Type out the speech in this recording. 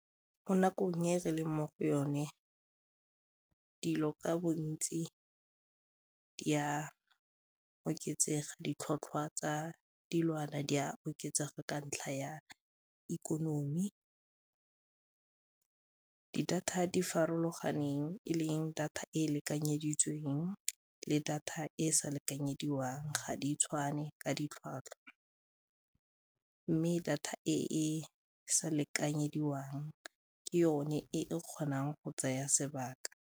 Mo nakong e re leng mo go yone, dilo ka bontsi di a oketsega, ditlhotlhwa tsa dilwana di a oketsega ka ntlha ya ikonomi. Data di farologaneng e leng data e e lekanyeditsweng le data e e sa lekanyediwang ga di tshwane ka ditlhwatlhwa mme data e e sa lekanyediwang ke yone e kgonang go tsaya sebaka.